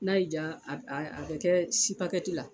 N'a y'i diya a bɛ kɛ la